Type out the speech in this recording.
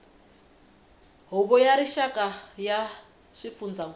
huvo ya rixaka ya swifundzankulu